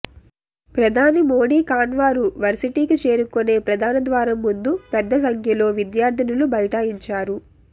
ప్రధాని మోడీ కాన్వారు వర్సిటీకి చేరుకునే ప్రధాన ద్వారం ముందు పెద్ద సంఖ్యలో విద్యార్థినులు బైఠాయించారు